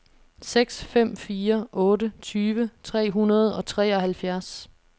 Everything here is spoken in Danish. seks fem fire otte tyve tre hundrede og treoghalvfjerds